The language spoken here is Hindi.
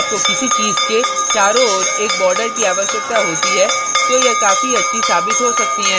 यदि आपको किसी चीज़ के चारों ओर एक border की आवश्यकता होती है तो यह काफी अच्छी साबित हो सकती हैं